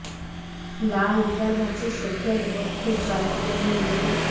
লা লিগার ম্যাচে সেভিয়ার বিপক্ষে জয় তুলে নিয়ে নিজেদের